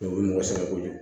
u ye mɔgɔ sɛgɛn kojugu